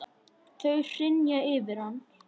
Þau hrynja yfir hann.